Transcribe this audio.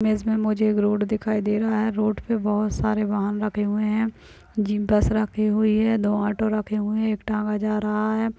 Image में मुझे एक रोड दिखाई दे रहा है रोड पे बहुत सारे वाहन रखे हुए हैं जीप बस रखी हुई है दो ऑटो रखे हुए है एक टांगा जा रहा हैं।